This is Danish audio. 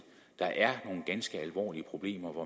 der er nogle ganske alvorlige problemer hvor